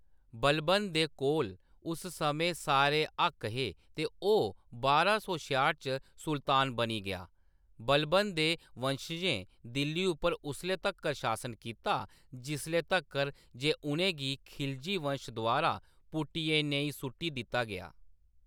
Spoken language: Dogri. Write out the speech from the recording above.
बलबन दे कोल उस समें सारे हक्क हे ते ओह्‌‌ बारां सौ छेआह्ट च सुल्तान बनी गेआ। बलबन दे वंशजें दिल्ली पर उसले तक्कर शासन कीता जिसले तक्कर जे उʼनें गी खिलजी वंश द्वारा पुट्टियै नेईं सु'ट्टी दित्ता गेआ।